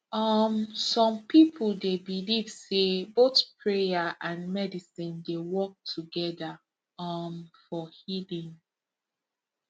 um some people dey believe say both prayer and medicine dey work together um for healing